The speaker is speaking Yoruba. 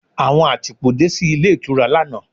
Àwọn àtìpó dé sí ilé ìtura lánàá.